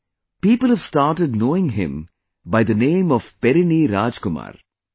Today, people have started knowing him by the name of Perini Rajkumar